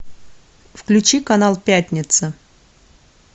включи канал пятница